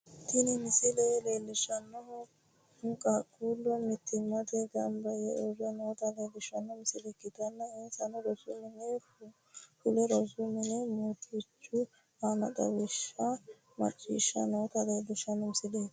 Tini misile leellishshannohu qaaqqullu mittimmatenni gamba yee uurre noota leellishshanno misile ikkitanna, insano rosu mininni fule rosu mini murrichi aanno xawishsha macciishshanni noota leellishshanno misileeti.